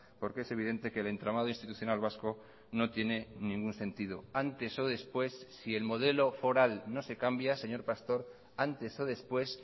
porque es evidente que el entramado institucional vasco no tiene ningún sentido antes o después si el modelo foral no se cambia señor pastor antes o después